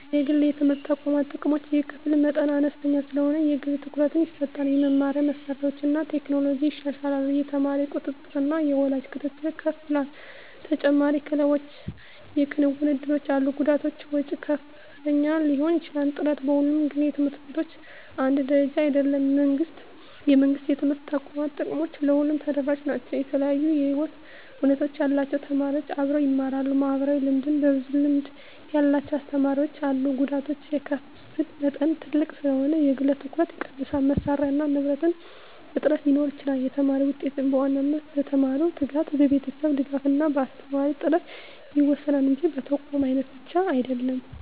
1) የግል የትምህርት ተቋማት ጥቅሞች የክፍል መጠን አነስተኛ ስለሆነ የግል ትኩረት ይሰጣል የመማሪያ መሳሪያዎችና ቴክኖሎጂ ይሻላሉ የተማሪ ቁጥጥርና የወላጅ ክትትል ከፍ ይላል ተጨማሪ ክለቦችና የክንውን እድሎች አሉ ጉዳቶች ወጪ ከፍተኛ ሊሆን ይችላል ጥራት በሁሉም ግል ት/ቤቶች አንድ ደረጃ አይደለም የመንግሥት የትምህርት ተቋማት ጥቅሞች ለሁሉም ተደራሽ ናቸው የተለያዩ የህይወት ሁኔታ ያላቸው ተማሪዎች አብረው ይማራሉ (ማህበራዊ ልምድ) ብዙ ልምድ ያላቸው አስተማሪዎች አሉ ጉዳቶች የክፍል መጠን ትልቅ ስለሆነ የግል ትኩረት ይቀንሳል መሳሪያና ንብረት እጥረት ሊኖር ይችላል የተማሪ ውጤት በዋናነት በተማሪው ትጋት፣ በቤተሰብ ድጋፍ እና በአስተማሪ ጥራት ይወሰናል እንጂ በተቋም አይነት ብቻ አይደለም።